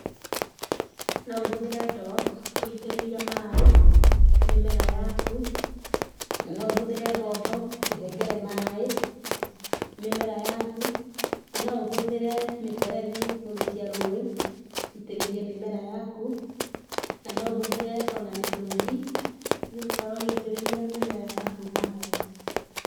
Noũhũthĩre ndoo gũitĩrĩria maaĩ mĩmera yaku na naũhũthĩre bombo kũhengere maaĩ mĩmera yaku na no ũhũthĩre mĩberethi ũrikie rũũĩ wũitĩrĩrie mĩmera yaku na no ũhũthĩre ona mitũngi nĩ ũgũkorwo ũgĩitĩrĩria mĩmera yaku maaĩ.